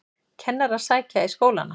Kennarar sækja í skólana